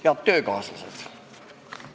Head töökaaslased!